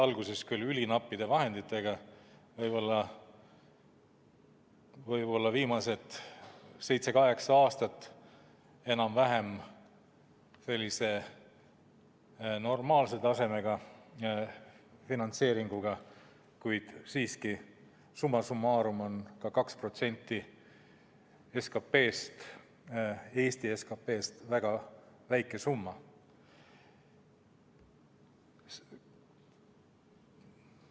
Alguses tegime seda küll ülinappide vahenditega, võib-olla viimased seitse-kaheksa aastat on olnud enam-vähem normaalsel tasemel finantseering, kuid siiski, summa summarum on ka 2% Eesti SKP-st väga väike summa.